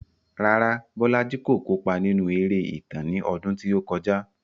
Rárá, Bolaji kò kópa nínú eré ìtàn ní ọdún tí ó kọjá.